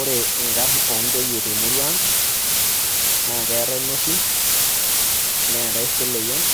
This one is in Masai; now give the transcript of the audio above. Ore inkarn ontoyie temurua ang',na keetae Nosim, neetae Seleyian,